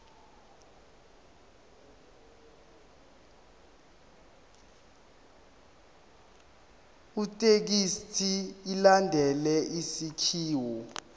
ithekisthi ilandele isakhiwo